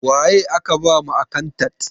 Waye aka ba ma akantat?